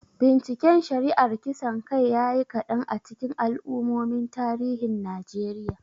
Binciken shari'ar kisan kai ya yi kadan a cikin al'ummomin tarihin Najeriya.